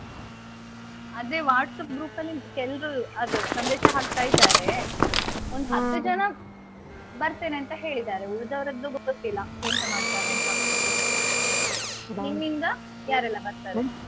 ಅದೇ WhatsApp group ಅಲ್ಲಿ ಕೆಲ್ರು ಅದು ಸಂದೇಶ ಹಾಕ್ತಾ ಇದ್ದಾರೆ. ಒಂದು ಹತ್ತು ಜನ, ಬರ್ತೇನೆ ಅಂತ ಹೇಳಿದಾರೆ ಉಳ್ದವ್ರದ್ದು ಗೊತ್ತಿಲ್ಲ ಎಂತ ಮಾಡ್ತಾರೆ ಅಂತ. ನಿಮ್ಮಿಂದ ಯಾರೆಲ್ಲಾ ಬರ್ತಾರೆ?